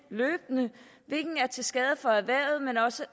er til skade for erhvervet men også